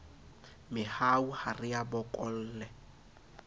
mehau ha re a bokolle